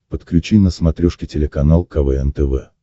подключи на смотрешке телеканал квн тв